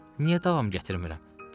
Niyə davam gətirmirəm?